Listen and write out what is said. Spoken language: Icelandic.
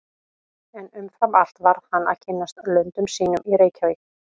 En umfram allt varð hann að kynnast löndum sínum í Reykjavík.